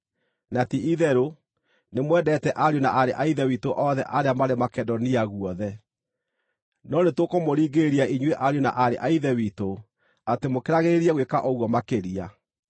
Na ti-itherũ, nĩmwendete ariũ na aarĩ a Ithe witũ othe arĩa marĩ Makedonia guothe. No nĩtũkũmũringĩrĩria inyuĩ ariũ na aarĩ a Ithe witũ, atĩ mũkĩragĩrĩrie gwĩka ũguo makĩria.